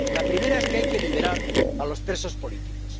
La primera es que hay que liberar a los presos políticos.